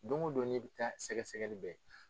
Don o don n'i bɛ taa sɛgɛ sɛgɛli bɛ kɛ.